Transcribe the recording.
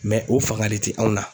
o fanga de tɛ anw na.